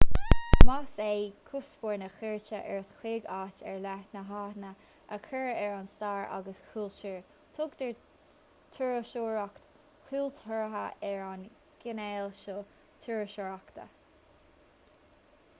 más é cuspóir na cuairte ort chuig áit ar leith ná aithne a chur ar an stair agus chultúr tugtar turasóireacht chultúrtha ar an gcineál seo turasóireachta